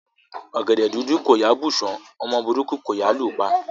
Ọgẹdẹ dúdú kò yáa bù ṣán; ọmọ burúkú kò yáa lù pa.